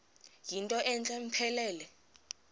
yinto entle mpelele